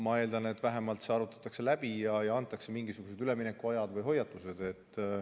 Ma eeldan, et vähemalt see arutatakse läbi ja antakse mingisugused üleminekuajad või hoiatused.